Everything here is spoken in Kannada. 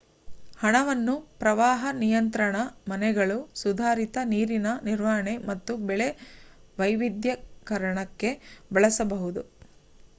ಹಣವನ್ನು ಪ್ರವಾಹ ನಿಯಂತ್ರಣ ಮನೆಗಳು ಸುಧಾರಿತ ನೀರಿನ ನಿರ್ವಹಣೆ ಮತ್ತು ಬೆಳೆ ವೈವಿಧ್ಯೀಕರಣಕ್ಕೆ ಬಳಸಬಹುದು